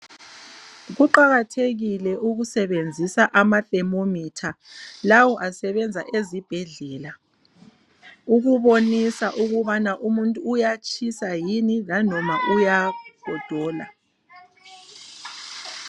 Kuqakathekile ukusebenzisa amatemometha lawo asebenza ezibhedlela ukubonisa ukubana umuntu uyatshisa yini lanoma uyagodola.